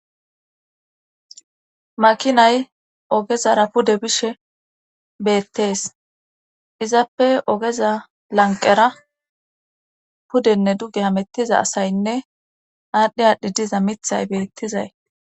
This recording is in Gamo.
Makinay ogezara pude bishe beettees izappe ogeza lanqera pudenne duge hamettiza asaynne aadhdhi aadhi diza mithay beettizay.